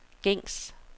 gængs